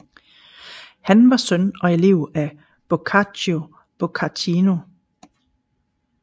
Han var søn og elev af Boccaccio Boccaccino